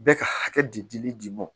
Bɛɛ ka hakɛ di di dili dimi ma